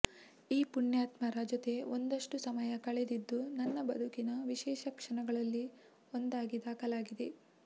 ಈ ಪುಣ್ಯಾತ್ಮರ ಜೊತೆ ಒಂದಷ್ಟು ಸಮಯ ಕಳೆದಿದ್ದು ನನ್ನ ಬದುಕಿನ ವಿಶೇಷ ಕ್ಷಣಗಳಲ್ಲಿ ಒಂದಾಗಿ ದಾಖಲಾಗಿದೆ